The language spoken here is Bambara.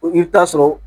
I bɛ taa sɔrɔ